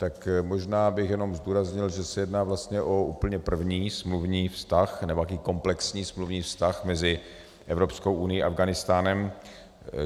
Tak možná bych jenom zdůraznil, že se jedná vlastně o úplně první smluvní vztah, nebo takový komplexní smluvní vztah mezi Evropskou unií a Afghánistánem.